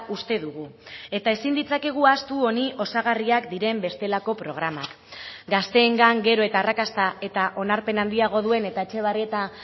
uste dugu eta ezin ditzakegu ahaztu honi osagarriak diren bestelako programak gazteengan gero eta arrakasta eta onarpen handiago duen eta etxebarrieta